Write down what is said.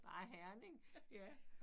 Ej Herning ja